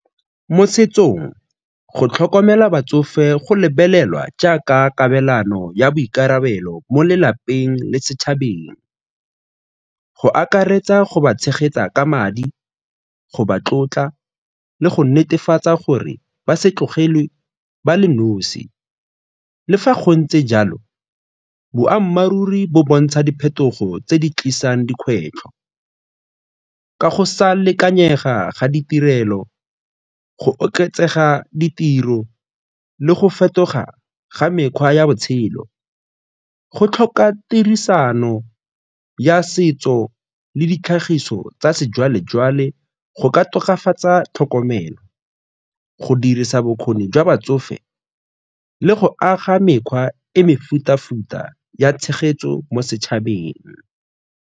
Mo setsong, go tlhokomela batsofe go lebelelwa jaaka kabelano ya boikarabelo mo lelapeng le setšhabeng, go akaretsa go ba tshegetsa ka madi, go ba tlotla le go netefatsa gore ba se tlogelwe ba le nosi. Le fa gontse jalo, boammaaruri bo bontsha diphetogo tse di tlisang dikgwetlho ka go sa lekanyega ga ditirelo, go oketsega ditiro le go fetoga ga mekgwa ya botshelo. Go tlhoka tirisano ya setso le ditlhagiso tsa sejwalejwale go ka tokafatsa tlhokomelo, go dirisa bokgoni jwa batsofe le go aga mekgwa e mefuta-futa ya tshegetso mo setšhabeng.